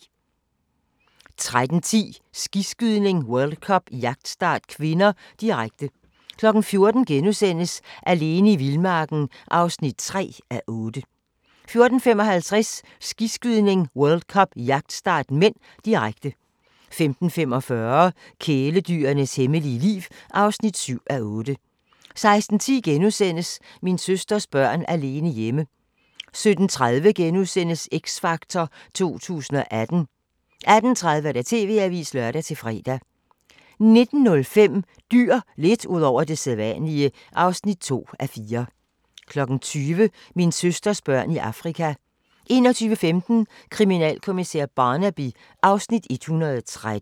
13:10: Skiskydning: World Cup - jagtstart (k), direkte 14:00: Alene i vildmarken (3:8)* 14:55: Skiskydning: World Cup - jagtstart (m), direkte 15:45: Kæledyrenes hemmelige liv (7:8) 16:10: Min søsters børn alene hjemme * 17:30: X Factor 2018 * 18:30: TV-avisen (lør-fre) 19:05: Dyr – lidt ud over det sædvanlige (2:4) 20:00: Min søsters børn i Afrika 21:15: Kriminalkommissær Barnaby (Afs. 113)